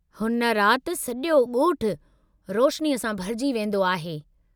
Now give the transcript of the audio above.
हुन राति सॼो ॻोठु रोशनीअ सां भरिजी वेंदो आहे।